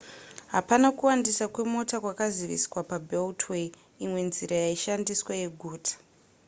hapana kuwandisa kwemota kwakaziviswa pabeltway imwe nzira yaishandiswa yeguta